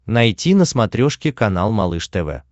найти на смотрешке канал малыш тв